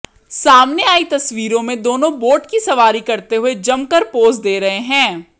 सामने आई तस्वीरों में दोनों बोट की सवारी करते हुए जमकर पोज दे रहे हैं